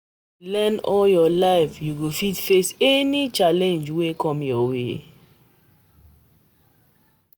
If you dey learn all your life, you go fit face any challenge wey come.